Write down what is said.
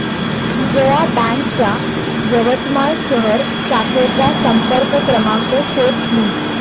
Vijaya bank च्या यवतमाळ शहर शाखेचा संपर्क क्रमांक शोध प्लीज